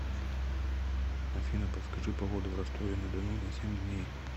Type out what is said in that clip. афина подскажи погоду в ростове на дону на семь дней